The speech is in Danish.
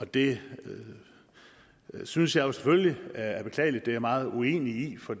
det synes jeg jo selvfølgelig er er beklageligt det er jeg meget uenig i for